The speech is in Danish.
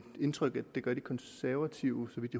indtryk at de konservative så vidt